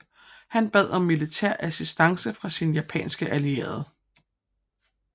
Han bad om militær assistance fra sine japanske allierede